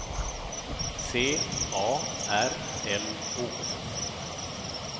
C A R L O